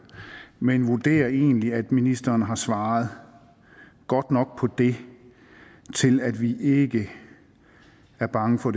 men vi vurderer egentlig at ministeren har svaret godt nok på det til at vi ikke er bange for